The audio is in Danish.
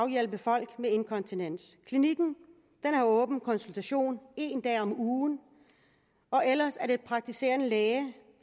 hjælpe folk med inkontinens klinikken har åben konsultation en dag om ugen og ellers er det praktiserende læge